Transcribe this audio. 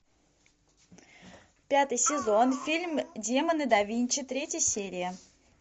пятый сезон фильм демоны да винчи третья серия